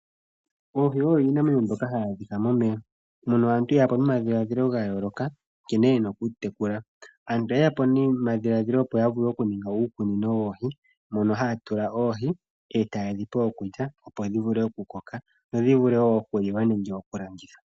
Oohi odho iinamwenyo ndyoka hayi adhika momeya mono aantu yeya po nomadhilaadhilo gayooloka nkene yena okudhi tekula. Aantu oyeya po nomadhilaadhilo opo ya ninge uukunino woohi mono haya tula oohi etayedhi pe okulya opo dhivule okukoka dhi vule okuliwa nenge okulandithwa.